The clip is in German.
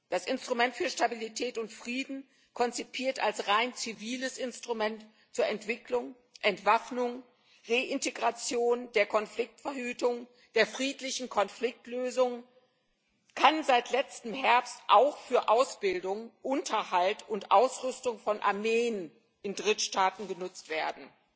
Das Instrument für Stabilität und Frieden, konzipiert als rein ziviles Instrument zur Entwicklung, Entwaffnung, Reintegration, zur Konfliktverhütung, zur friedlichen Konfliktlösung, kann seit letzten Herbst auch für Ausbildung, Unterhalt und Ausrüstung von Armeen in Drittstaaten genutzt werden.